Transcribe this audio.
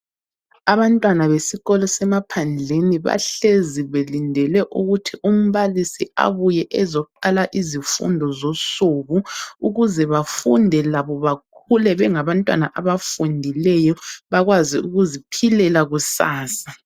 Abantwana besikolo semaphandleni bahlezi belindele ukuthi umbalisi abuye ezoqala izifundo zosuku ukuze befunde labo bakhule bengabantwana abafundileyo bakwazi ukuziphilela kusasa.